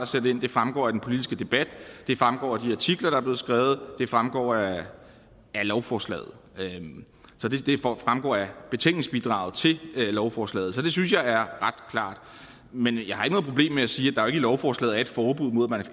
sendt ind det fremgår af den politiske debat det fremgår af de artikler der er blevet skrevet det fremgår af lovforslaget det fremgår af betænkningsbidraget til lovforslaget så det synes jeg er ret klart men jeg har ikke noget problem med at sige at der i lovforslaget er et forbud mod at